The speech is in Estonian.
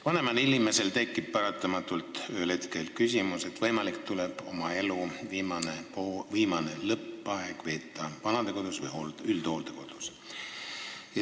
Vanemal inimesel tekib paratamatult ühel hetkel küsimus, kas äkki tuleb oma elu lõpu aeg veeta vanadekodus või üldhooldekodus.